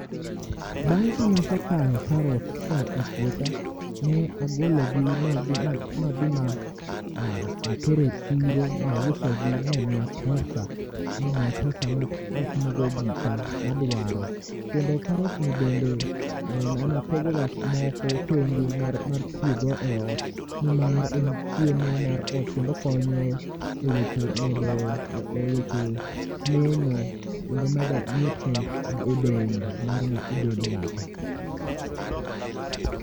Bang' kanasekayo karot koa e puotha, ne agologi madhi madhi ma a aterogi e chiro, mausogi momiya pesa matimogo gika maduaro. Kendo karot gi bende napogoga moko tenge mar tiyogo e ot, nimar en chiemo mar ot kendo konyo e weche neno kendo medo nutrients e dend ng'ato.